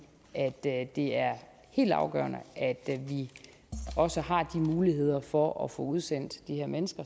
at det at det er helt afgørende at vi også har de muligheder for at få udsendt de her mennesker